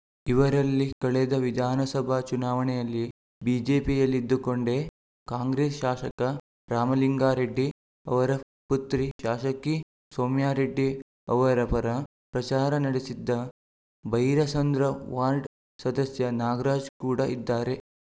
ಇವರಲ್ಲಿ ಕಳೆದ ವಿಧಾನಸಭಾ ಚುನಾವಣೆಯಲ್ಲಿ ಬಿಜೆಪಿಯಲ್ಲಿದ್ದುಕೊಂಡೇ ಕಾಂಗ್ರೆಸ್‌ ಶಾಸಕ ರಾಮಲಿಂಗಾರೆಡ್ಡಿ ಅವರ ಪುತ್ರಿ ಶಾಸಕಿ ಸೌಮ್ಯಾರೆಡ್ಡಿ ಅವರ ಪರ ಪ್ರಚಾರ ನಡೆಸಿದ್ದ ಭೈರಸಂದ್ರ ವಾರ್ಡ್‌ ಸದಸ್ಯ ನಾಗರಾಜ್‌ ಕೂಡ ಇದ್ದಾರೆ